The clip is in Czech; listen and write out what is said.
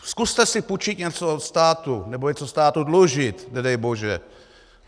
Zkuste si půjčit něco od státu nebo něco státu dlužit, nedej bože.